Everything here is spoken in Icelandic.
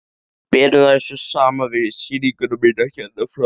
Berum þær svo saman við sýninguna mína hérna frammi.